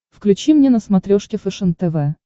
включи мне на смотрешке фэшен тв